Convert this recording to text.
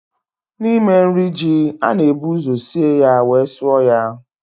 N'ime nri Ji, a na-ebu ụzọ sie ya wee sụọ ya